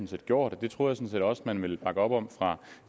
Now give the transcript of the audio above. set gjort og det troede jeg også at man ville bakke op om fra